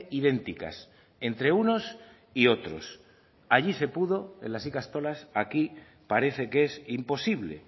idénticas entre unos y otros allí se pudo en las ikastolas aquí parece que es imposible